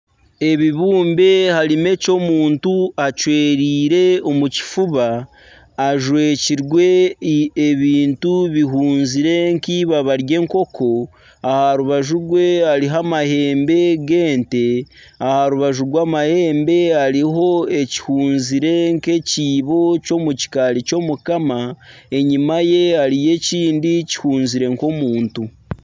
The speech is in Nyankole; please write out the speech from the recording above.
Ebibumbe harimu eky'omuntu acwereire omu kifuba ajwekirwe ebintu bihunzire nk'eipapa ry'enkoko aha rubaju rw'enguuto hariho amahembe g'ente, aha rubaju rw'amahembe hariho ekihunzire nk'ekiibo ky'omukikaari ky'Omukama enyima yaakyo hariyo ekindi kihunzire nk'omuntu.